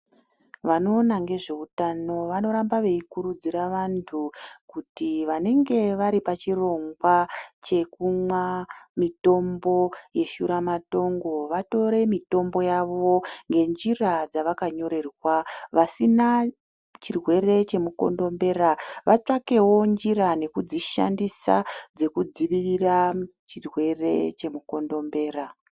Vanoona ngezveutano vanoramba veikurudzira vantu kuti vanenge vari pachirongwa chekumwa mitombo yeshuramatongo vatore mitombo yavo ngenjira dzavakonyorerwa vasina chirwere chemukondombera vatsvakewo njira nekudzishandisa dzekudzivirira chirwere chemukondombera.